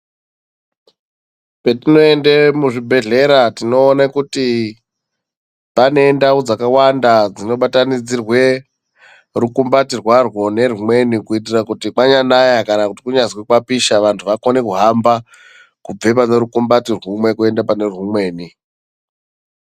patinoende muzvibhedhlera tinoone kuti pane ndau dzakawanda dzinobatanidzire rukumbati rwarwo nerwumweni. Kuitira kuti kwanyanaya kana kuti kwanyazi kwapisha vantu vakone kuhamba kubve pane rukumbati rwumwe kwenda panerwumweni.